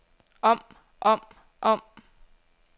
om om om